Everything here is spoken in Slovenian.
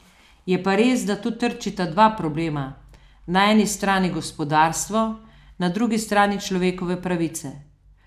Je pa res, da tu trčita dva problema, na eni strani gospodarstvo, na drugi strani človekove pravice.